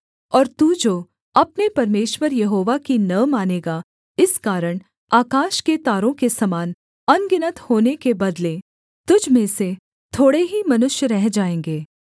और तू जो अपने परमेश्वर यहोवा की न मानेगा इस कारण आकाश के तारों के समान अनगिनत होने के बदले तुझ में से थोड़े ही मनुष्य रह जाएँगे